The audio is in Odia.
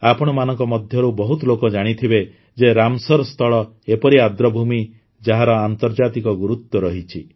ଆପଣମାନଙ୍କ ଭିତରୁ ବହୁତ ଲୋକ ଜାଣିଥିବେ ଯେ ରାମସର ସ୍ଥଳ ଏପରି ଆର୍ଦ୍ରଭୂମି ଯାହାର ଆନ୍ତର୍ଜାତିକ ଗୁରୁତ୍ୱ ରହିଛି